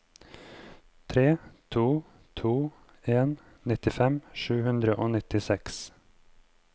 tre to to en nittifem sju hundre og nittiseks